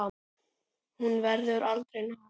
Hún verður aldrei nóg þökkuð.